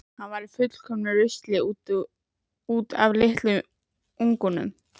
Hann var í fullkomnu rusli út af litlum unga.